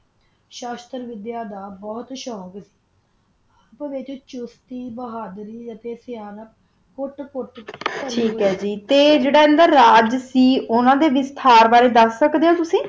ਸ਼ਕ ਵੜਿਆ ਦਾ ਬੋਹਤ ਸ਼ੋਕ ਸੀ ਤਾ ਓਹੋ ਅਨਾ ਦਾ ਵਿਤਚ ਕੋਟ ਕੋਟ ਪਰ ਸੀ ਤਾ ਜਰਾ ਅੰਦਾ ਰਾਜ ਸੀ ਓਹੋ ਓਨਾ ਦਾ ਵਾਤ੍ਹਿਰ ਬਾਰਾ ਦਸ ਸਕਦਾ ਓਹੋ